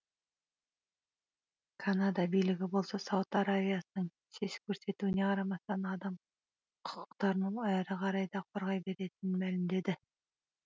канада билігі болса сауд арабиясының сес көрсетуіне қарамастан адам құқықтарын әрі қарай да қорғай беретінін мәлімдеді